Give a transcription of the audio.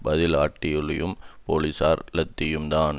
பதில் அட்டூழியமும் போலீசாரின் லத்தியும்தான்